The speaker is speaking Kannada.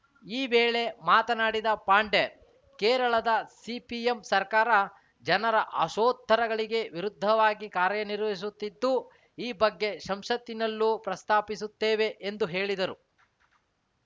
ಈ ವೇಳೆ ಮಾತನಾಡಿದ ಪಾಂಡೆ ಕೇರಳದ ಸಿಪಿಎಂ ಸರ್ಕಾರ ಜನರ ಆಶೋತ್ತರಗಳಿಗೆ ವಿರುದ್ಧವಾಗಿ ಕಾರ್ಯನಿರ್ವಹಿಸುತ್ತಿದ್ದು ಈ ಬಗ್ಗೆ ಸಂಸತ್ತಿನಲ್ಲೂ ಪ್ರಸ್ತಾಪಿಸುತ್ತೇವೆ ಎಂದು ಹೇಳಿದರು